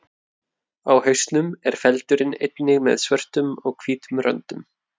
Á hausnum er feldurinn einnig með svörtum og hvítum röndum.